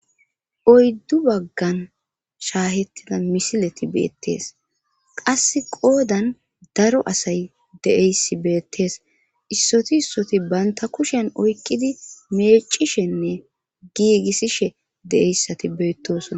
oyddu baggan shaahettida misileti beettees qasse qoodan daro asay de7eyssi beettees issoti issoti baynta kushen oykkidi meecishenne giigissishe deeyssati beettosona